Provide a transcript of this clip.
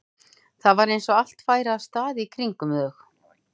Það var eins og allt færi af stað í kringum þau.